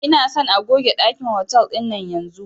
Ina son a goge ɗakin hotal ɗinan yanzun